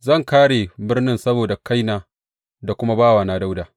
Zan kāre birnin nan saboda kaina da kuma bawana Dawuda.’